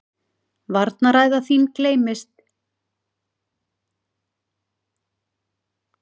Varnarræða þín geymist eilíflega.